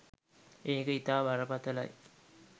ඒක ඉතා බරපතලයි.